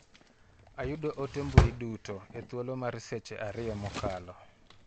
Ayudo ote mbui duto e thuolo mar seche ariyo mokalo.